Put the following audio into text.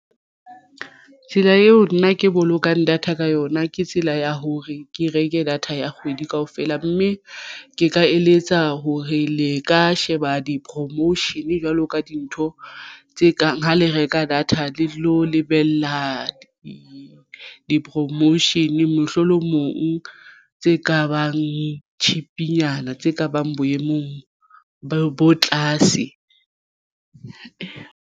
Tsela eo nna ke bolokang data ka yona ke tsela ya hore ke reke data ya kgwedi kaofela mme ke ka eletsa hore le ka sheba di-promotion jwalo ka dintho tse kang ha le reka data le lo lebella di-promotion mohlolomong tse ka bang cheap-nyana tse kabang boemong bo tlase.